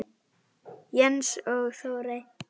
Jens og Þórey.